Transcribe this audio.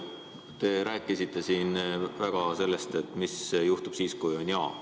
Te rääkisite siin sellest, mis juhtub siis, kui vastus on jah.